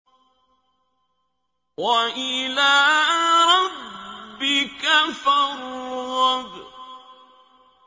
وَإِلَىٰ رَبِّكَ فَارْغَب